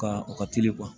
Ka u ka teli